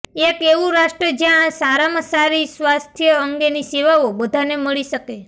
એક એવું રાષ્ટ્ર જ્યાં સારામાં સારી સ્વાસ્થ્ય અંગેની સેવાઓ બધાને મળી શકે